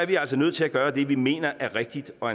vi altså nødt til at gøre det vi mener er rigtigt og